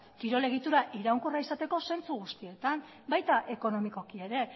kirol egitura iraunkorra izateko zentzu guztietan baita ekonomikoki ere